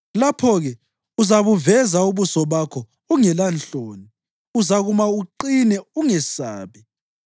lapho-ke uzabuveza ubuso bakho ungelanhloni; uzakuma uqine ungesabi.